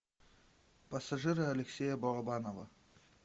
пассажиры алексея балабанова